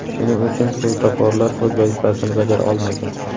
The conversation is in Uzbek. Shuning uchun svetoforlar o‘z vazifasini bajara olmagan.